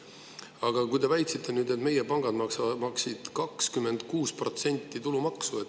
Aga te väitsite, et meie pangad maksid 26% tulumaksu.